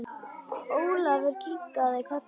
Ólafur kinkaði kolli.